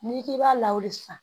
N'i k'i b'a lawale san